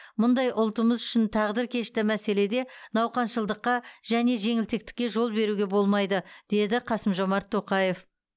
мұндай ұлтымыз үшін тағдыркешті мәселеде науқаншылдыққа және жеңілтектікке жол беруге болмайды деді қасым жомарт тоқаев